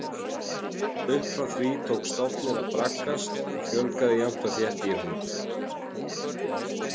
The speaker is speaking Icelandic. Upp frá því tók stofninn að braggast og fjölgaði jafnt og þétt í honum.